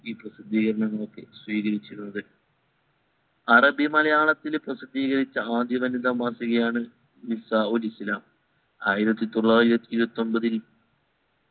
പ്രസിദീകരണങ്ങൾക്ക് സ്വീകരിച്ചിരുന്നത അറബി മലയാളത്തിൽ പ്രസിദ്ധീകരിച്ച ആദ്യ വനിതാ മാസികയാണ് നിസായോ ഇസ്ലാം ആയിരത്തി തൊള്ളായിരത്തി ഇരുവത്തി ഒമ്പതിൽ